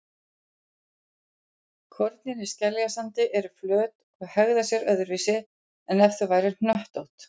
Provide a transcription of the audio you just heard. Kornin í skeljasandi eru flöt og hegða sér öðruvísi en ef þau væru hnöttótt.